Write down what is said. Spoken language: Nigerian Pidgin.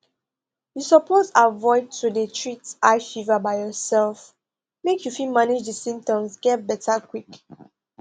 you suppose avoid to dey treat high fever by yourself make you fit manage di symptoms get beta quick